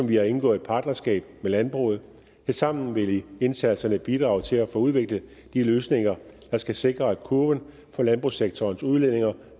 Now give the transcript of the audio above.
vi har indgået et partnerskab med landbruget tilsammen vil indsatserne bidrage til at få udviklet de løsninger der skal sikre at kurven for landbrugssektorens udledinger